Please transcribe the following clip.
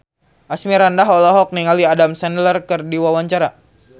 Asmirandah olohok ningali Adam Sandler keur diwawancara